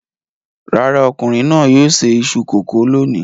Rárá, ọkùnrin náà yóò se iṣu kòkó lónìí.